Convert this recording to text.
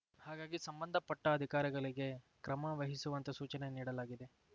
ಹಾಗಾಗಿ ಸಂಬಂಧ ಪಟ್ಟಅಧಿಕಾರಿಗಳಿಗೆ ಕ್ರಮ ವಹಿಸುವಂತೆ ಸೂಚನೆ ನೀಡಲಾಗಿದೆ